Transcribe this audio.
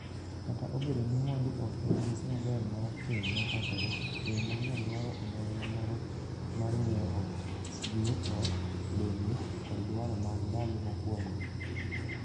Kata obedo ni mwandu ok en mise maber mar keny machakore, keny manyien dwaro onyongla moro mar ng'iewo ot, gige ot, lewni, kod dwaro mag ndalo mokuongo.